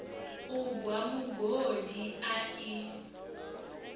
u gwa mugodi a i